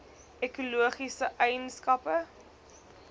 ekologiese eien skappe